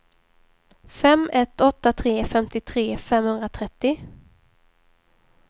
fem ett åtta tre femtiotre femhundratrettio